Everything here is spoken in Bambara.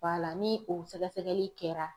la ni o sɛgɛsɛgɛli kɛra.